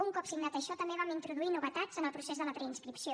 un cop signat això també vam introduir novetats en el procés de la preinscripció